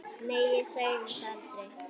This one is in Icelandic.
Nei, ég sagði það aldrei.